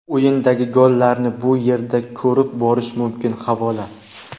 O‘yindagi gollarni bu yerda ko‘rib borish mumkin havola .